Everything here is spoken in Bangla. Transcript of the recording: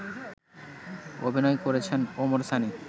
অভিনয় করেছেন ওমর সানি